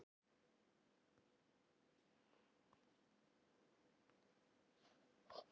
Þar voru þeir í sóttkví.